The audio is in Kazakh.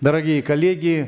дорогие коллеги